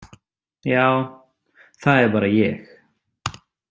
Já, það er bara ég.